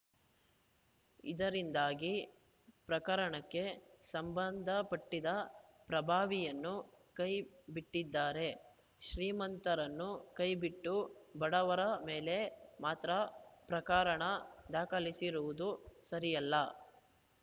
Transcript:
ಇದರಿಂದಾಗಿ ಪ್ರಕರಣಕ್ಕೆ ಸಂಬಂಧಪಟ್ಟಿದ್ದ ಪ್ರಭಾವಿಯನ್ನು ಕೈ ಬಿಟ್ಟಿದ್ದಾರೆ ಶ್ರೀಮಂತರನ್ನು ಕೈಬಿಟ್ಟು ಬಡವರ ಮೇಲೆ ಮಾತ್ರ ಪ್ರಕರಣ ದಾಖಲಿಸಿರುವುದು ಸರಿಯಲ್ಲ